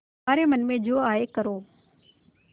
तुम्हारे मन में जो आये करो